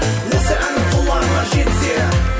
осы әнім құлағыңа жетсе